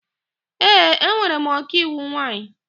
Ee, enwere m ọkaiwu nwaanyị.